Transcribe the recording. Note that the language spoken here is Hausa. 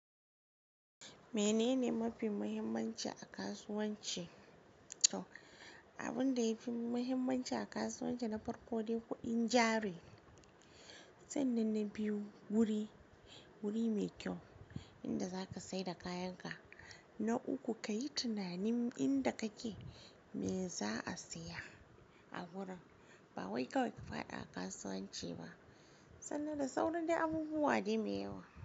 Menene mafi muhimmanci a kasuwanci? Toh Abin da yafi muhimmanci a kasuwanci na farko dai kuɗin jari Sannan na biyu wuri, wuri mai kyau inda za ka saida kayan ka na uku ka yi tunanin inda kake me za a siya a wurin. Ba wai kawai ki fada a kasuwanci ba sannan da sauran dai abubuwa dai me yawa.